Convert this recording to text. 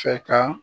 Fɛ ka